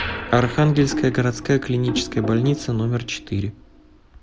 архангельская городская клиническая больница номер четыре